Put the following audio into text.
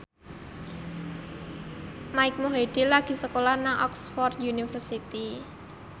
Mike Mohede lagi sekolah nang Oxford university